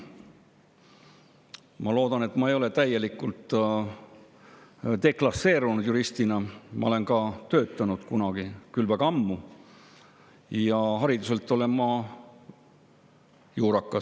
Ma loodan, et ma ei ole juristina täielikult deklasseerunud, ma olen juristina ka töötanud kunagi, küll väga ammu, ja hariduselt olen ma juurakas.